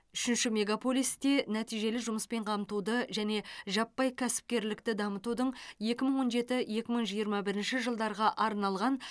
үшінші мегаполисте нәтижелі жұмыспен қамтуды және жаппай кәсіпкерлікті дамытудың екі мың он жеті екі мың жиырма бірінші жылдарға арналған